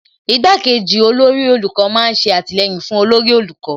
Igbá kejì olórí olùkọ́ má ń ṣe àtìlẹyìn fún olórí olùkọ́